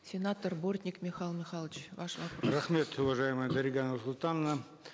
сенатор бортник михаил михайлович ваш вопрос рахмет уважаемая дарига нурсултановна